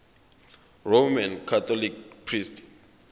roman catholic priests